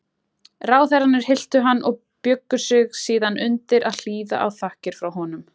Ráðherrarnir hylltu hann og bjuggu sig síðan undir að hlýða á þakkir frá honum.